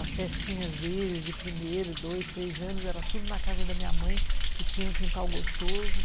As festinhas deles de primeiro, dois, três anos, era tudo na casa da minha mãe, que tinha um quintal gostoso, né?